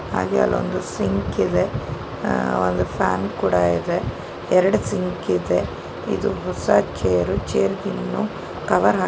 ಹಾಗೆ ಅಲೊಂದು ಸಿಂಕ್ ಇದೆ ಒಂದು ಫ್ಯಾನ್ ಕೂಡ ಇದೆ ಎರಡ ಸಿಂಕ್ ಇದೆ ಇದು ಹೊಸ ಚೇರು ಚೇರ್ ಗಿನ್ನು ಕವರ್ ಹಾಕಿಲ್ಲಾ.